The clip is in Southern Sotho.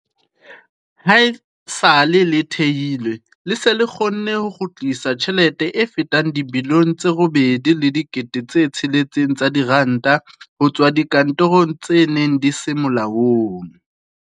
Haesale le thehilwe, le se le kgonne ho kgutlisa tjhelete e fetang dibilione tse 8.6 tsa diranta ho tswa dikonterakeng tse neng di se molaong.